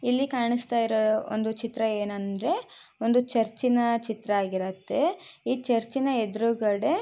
ಇಲ್ಲಿ ಕಾಣಸ್ಥಾ ಇರೋ ಒಂದು ಚಿತ್ರ ಏನಂದ್ರೆ ಒಂದು ಚುರ್ಚಿನ ಚಿತ್ರ ಆಗಿರತ್ತೆ ಈ ಚುರ್ಚಿನ ಎದುರಗಡೆ--